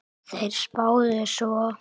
Þeir spáðu svo